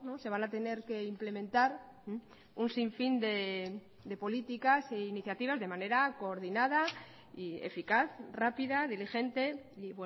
se van a tener que implementar un sin fin de políticas e iniciativas de manera coordinada y eficaz rápida diligente y